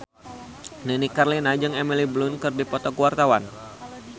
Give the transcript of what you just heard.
Nini Carlina jeung Emily Blunt keur dipoto ku wartawan